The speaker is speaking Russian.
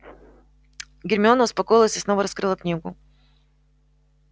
гермиона успокоилась и снова раскрыла книгу